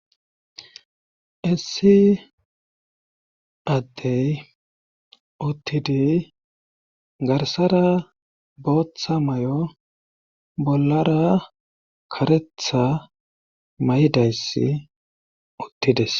Essi addey uttidi garsara booththa may'o bollara karetha may'dayssi uttides